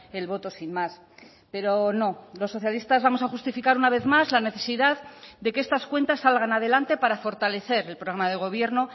el voto sin más pero no los socialistas vamos a justificar una vez más la necesidad de que estas cuentas salgan adelante para fortalecer el programa de gobierno